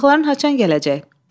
Qonaqların haçan gələcək?